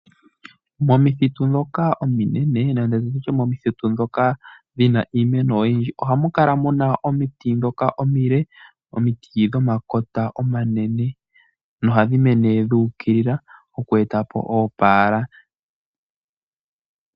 Momithitu ndhoka ominene, nenge nditye momithitu ndhoka dhina iimeno oyindji, ohamu kala muna omiti ndhoka omile, omiti dhomakota omanene, nohadhi mene dhuukilila oku etapo oopaala.